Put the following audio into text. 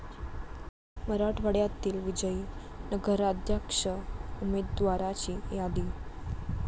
मराठवाड्यातील विजयी नगराध्यक्ष उमेदवाराची यादी